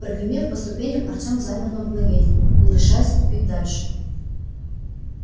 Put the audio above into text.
прогремев по ступеням артем замер на мгновение не решаясь ступить дальше